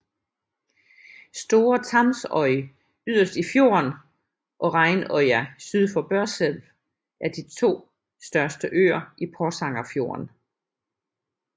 Store Tamsøy yderst i fjorden og Reinøya syd for Børselv er de to største øer i Porsangerfjorden